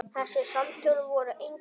Þessi samtöl voru engu lík.